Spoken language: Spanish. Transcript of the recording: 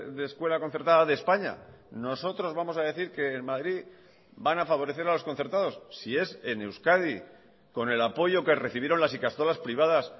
de escuela concertada de españa nosotros vamos a decir que en madrid van a favorecer a los concertados si es en euskadi con el apoyo que recibieron las ikastolas privadas